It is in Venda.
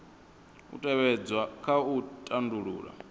u tevhedzwa kha u tandulula